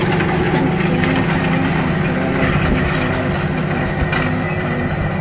Kristian Kern Avstriya kansleri sifatida qasamyod qildi.